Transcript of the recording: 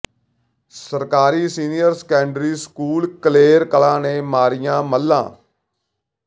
ਸਰਕਾਰੀ senior secondary school Kaler Kalan ਨੇ ਮਾਰੀਆਂ ਮੱਲਾਂ